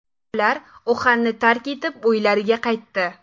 Ular Uxanni tark etib, uylariga qaytdi.